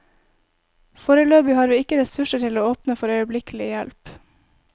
Foreløpig har vi ikke ressurser til å åpne for øyeblikkelig hjelp.